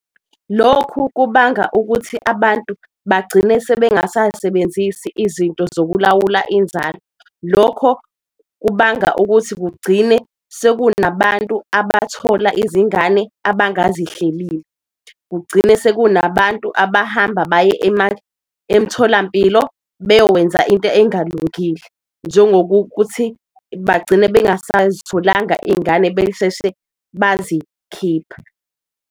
Lokhu kubanga ukuthi abantu bagcine sebengasasebenzisi izinto zokulawula inzalo, lokho kubanga ukuthi kugcine sekunabantu abathola izingane abangazihleleli. Kugcine lo sekunabantu abahamba baye emtholampilo bayowenza into engalungile, njengo kokuthi bagcine bengasazitholanga iy'ngane besheshe bazikhipha.